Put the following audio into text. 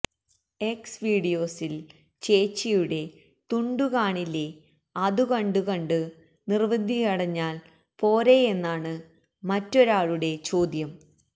X വീഡിയോസി്ല് ചേച്ചിയുടെ തുണ്ടു കാണില്ലേ അതു കണ്ടു കണ്ടു നിര്വൃതിയടഞ്ഞാല് പോരേയെന്നാണ് മറ്റൊരാളുടെ ചോദ്യം